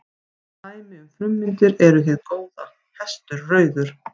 Dæmi um frummyndir eru hið góða, hestur, rauður.